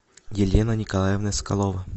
елена николаевна соколова